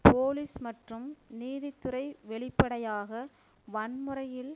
police மற்றும் நீதித்துறை வெளிப்படையாக வன்முறையில்